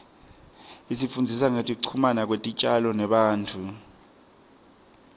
isifundzisa ngekuchumana kwetitjalo nebantfu